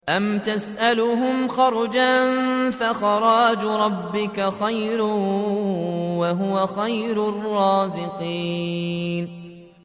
أَمْ تَسْأَلُهُمْ خَرْجًا فَخَرَاجُ رَبِّكَ خَيْرٌ ۖ وَهُوَ خَيْرُ الرَّازِقِينَ